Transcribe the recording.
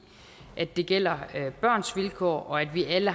det gælder børns vilkår og at vi alle